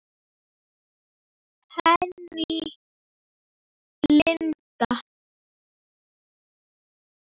Henný Lind.